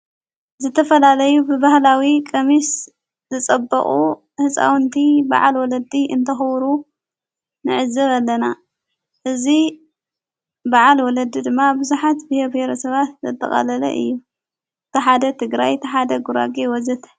ዘተፈላለዩ ብብህላዊ ቀምስ ዘጸብቑ ሕፃዉንቲ በዓል ወለዲ እንተኽዉሩ ንዕዘብ ኣለና እዝ በዓል ወለዲ ድማ ብዙኃት ብሄር ብሄረሰብ ሰባት ዘተቓለለ እዩ ተሓደ ትግራ ይ ተሓደ ጕራጌ ወዘተ,,,,